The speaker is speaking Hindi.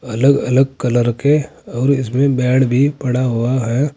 अलग अलग कलर के और इसमें बेड भी पड़ा हुआ है।